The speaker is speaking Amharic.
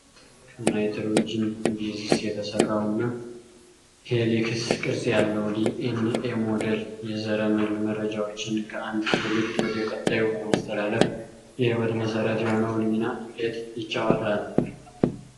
ከናይትሮጅን ቤዝስ የተሰራውና ሄሊክስ ቅርጽ ያለው ዲ ኤን ኤ ሞዴል፣ የዘረመል መረጃዎችን ከአንዱ ትውልድ ወደ ቀጣዩ በማስተላለፍ የህይወት መሰረት የሆነውን ሚና እንዴት ይጫወታል?